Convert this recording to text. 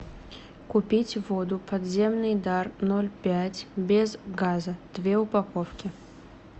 купить воду подземный дар ноль пять без газа две упаковки